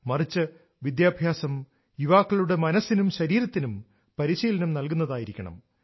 മറിച്ച്് വിദ്യാഭ്യാസം യുവാക്കളുടെ മനസ്സിലും ശരീരത്തിനും പരിശീലനം നൽകുന്നതായിരിക്കണം